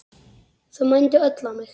Þau mændu öll á mig.